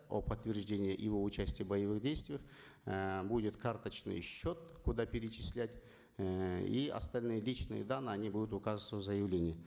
о подтверждении его участия в боевых действиях эээ будет карточный счет куда перечислять эээ и остальные личные данные они будут указываться в заявлении